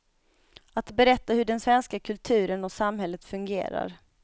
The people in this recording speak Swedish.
Att berätta hur den svenska kulturen och samhället fungerar.